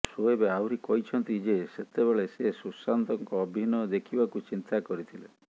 ସୋଏବ ଆହୁରି କହିଛନ୍ତି ଯେ ସେତେବେଳେ ସେ ସୁଶାନ୍ତଙ୍କ ଅଭିନୟ ଦେଖିବାକୁ ଚିନ୍ତା କରିଥିଲେ